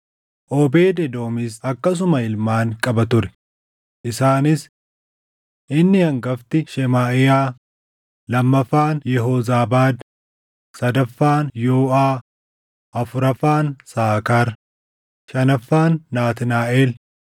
Oobeed Edoomis akkasuma ilmaan qaba ture; isaanis: Inni hangafti Shemaaʼiyaa, lammaffaan Yehoozaabaad, sadaffaan Yooʼaa, afuraffaan Saakaar, shanaffaan Naatnaaʼel,